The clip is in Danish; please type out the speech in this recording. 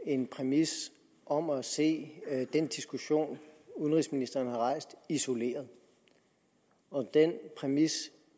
en præmis om at se den diskussion udenrigsministeren har rejst isoleret den præmis